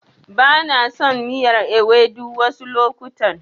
Bana son miyar Ewedu wasu lokutan.